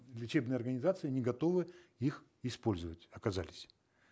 лечебные организации не готовы их использовать оказались